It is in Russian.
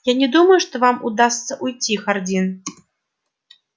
я не думаю что вам удастся уйти хардин